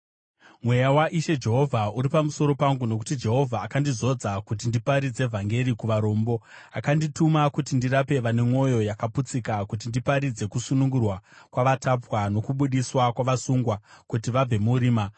Mweya waIshe Jehovha uri pamusoro pangu, nokuti Jehovha akandizodza kuti ndiparidze vhangeri kuvarombo. Akandituma kuti ndirape vane mwoyo yakaputsika, kuti ndiparidze kusunungurwa kwavakatapwa, nokubudiswa kwavasungwa kuti vabve murima,